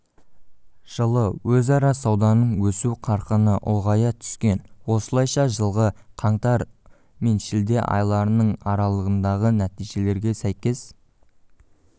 жылы өзара сауданың өсу қарқыны ұлғая түскен осылайша жылғы қаңтар мен шілде айларының аралығындағы нәтижелерге сәйкес